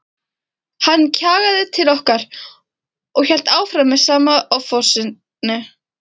Hann kjagaði til okkar og hélt áfram með sama offorsinu.